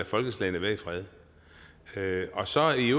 folkeslag være i fred og så i